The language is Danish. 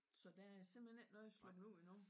Så der er simpelthen ikke noget sluppet ud endnu?